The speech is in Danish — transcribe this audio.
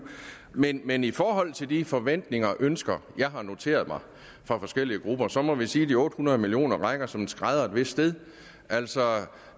men men i forhold til de forventninger og ønsker jeg har noteret mig fra forskellige grupper så må vi sige at de otte hundrede million kroner rækker som en skrædder et vist sted altså